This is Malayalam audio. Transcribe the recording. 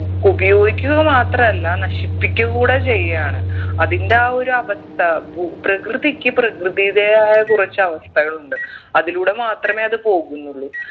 ഉപയോഗിക്കുക മാത്രമല്ല നശിപ്പിക്കുക കൂടെ ചെയ്യാണ് അതിൻ്റെ ആ ഒരു അവസ്ഥ ഭൂ പ്രകൃതിക്ക് പ്രകൃതിയുടേതായ കുറച്ച് അവസ്ഥകളുണ്ട് അതിലൂടെ മാത്രമെ അത് പോകുന്നുള്ളൂ